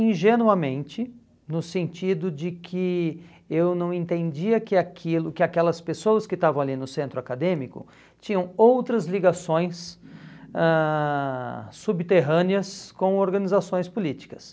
ingenuamente, no sentido de que eu não entendia que aquilo que aquelas pessoas que estavam ali no centro acadêmico tinham outras ligações ãh subterrâneas com organizações políticas.